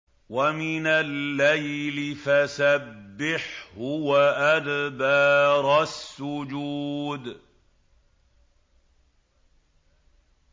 وَمِنَ اللَّيْلِ فَسَبِّحْهُ وَأَدْبَارَ السُّجُودِ